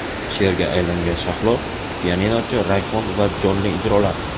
Sherga aylangan Shahlo, pianinochi Rayhon va jonli ijrolar.